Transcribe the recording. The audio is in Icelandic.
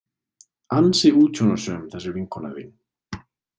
Ansi útsjónarsöm, þessi vinkona þín.